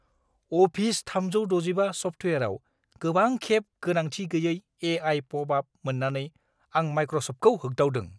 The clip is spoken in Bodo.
अफिस 365 सफ्टवेरआव गोबांखेब गोनांथि-गैयै ए.आइ. पपआप मोन्नानै आं मायक्र'सफ्टखौ होगदावदों।